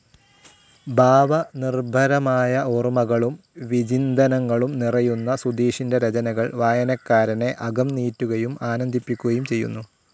ഭാവനിർഭരമായ ഓർമ്മകളും വിചിന്തനങ്ങളും നിറയുന്ന സുധീഷിൻറെ രചനകൾ വായനക്കാരനെ അകംനീറ്റുകയും ആനന്ദിപ്പിക്കുകയും ചെയ്യുന്നു.